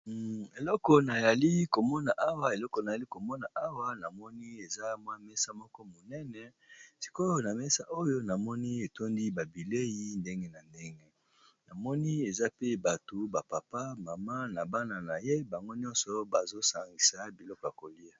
Eleko na yali komona awa namoni eza mwa mesa moko monene sikoyo na mesa oyo namoni etondi ba bilei ndenge na ndenge namoni eza pe bato ba papa, mama na bana na ye bango nyonso bazo sangisa biloko ya kolia